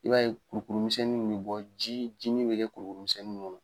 I b'a ye kurukuru misɛnnin in bɛ bɔ ji jinin bɛ kɛ kurukuru misɛnnin kɔnɔ.